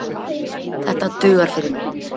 Þetta dugar fyrir mig